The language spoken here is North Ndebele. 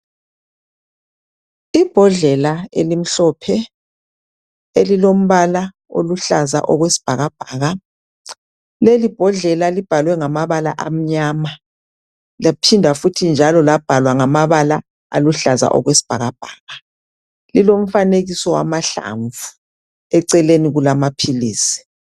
Ibhodlela elimhlophe elilombala oluhlaza okwesibhakabhaka lelibhodlela libhalwe ngamabala amnyama laphinda futhi labhalwa ngamabala aluhlaza okwesibhakabhaka lilomfanekiso wamahlamvu. Eceleni kulamaphilisi.